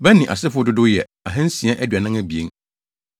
Bani asefo dodow yɛ 2 642 1